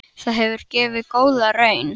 Það hefur gefið góða raun.